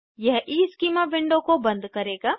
यह schema window को बंद करेगा